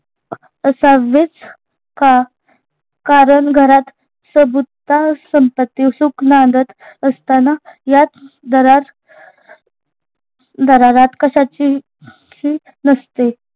असावेच का कारण घरात संपत्ति सुख नांदत असताना याच धरात कश्याची नसते